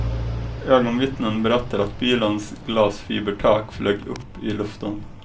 Ögonvittnen berättar att bilens glasfibertak flög upp i luften.